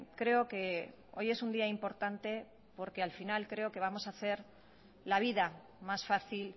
creo que hoy es un día importante porque al final creo que vamos a hacer la vida más fácil